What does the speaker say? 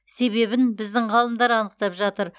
себебін біздің ғалымдар анықтап жатыр